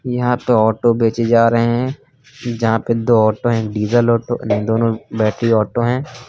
यहां तो ऑटो बेचे जा रहे हैं यहां पे दो ऑटो हैं डीजल ऑटो दोनों बैटरी ऑटो हैं।